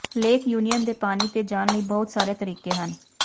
lake Union ਦੇ ਪਾਣੀ ਤੇ ਜਾਣ ਲਈ ਬਹੁਤ ਸਾਰੇ ਤਰੀਕੇ ਹਨ